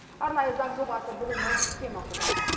арнайы заң жобасы бүгін мәжілісте мақұлданды